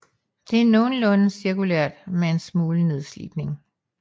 Det er nogenlunde cirkulært med en smule nedslidning